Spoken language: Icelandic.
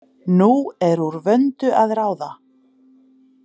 Nú er úr vöndu að ráða!